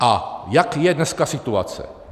A jaká je dneska situace?